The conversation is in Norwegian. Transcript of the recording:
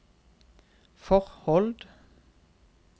forhold